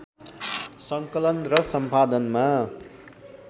सङ्कलन र सम्पादनमा